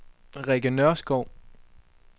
Rikke Nørskov